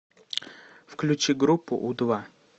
включи группу у два